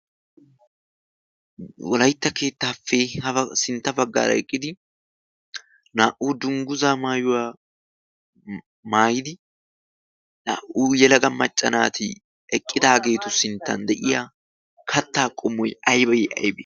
wolaitta keettaappee hasintta baggaara eqqidi naa"u dungguza maayuwaa maayidi naa"u yelaga maccanaati eqqidaageetu sinttan de'iya kattaa qomoy aybay aybee?